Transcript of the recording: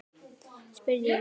spurði ég Stjána.